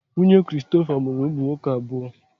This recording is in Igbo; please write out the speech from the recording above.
Nwunye Christopher mụrụ ụmụ nwoke abụọ.